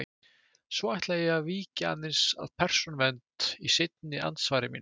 Svo ætla ég að víkja aðeins að Persónuvernd í seinna andsvari mínu.